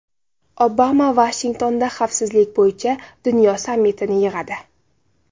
Obama Vashingtonda xavfsizlik bo‘yicha dunyo sammitini yig‘adi.